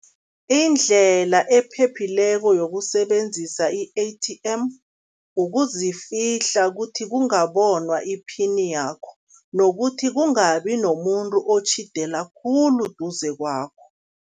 Indlela ephephileko yokusebenzisa i-A_T_M, ukuzifihla ukuthi kungabonwa iphini yakho nokuthi kungabi nomuntu otjhidela khulu duze kwakho.